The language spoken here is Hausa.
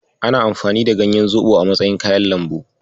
Ana amfani da ganyan zoɓo a matsayin kayan lambu.